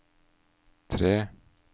tre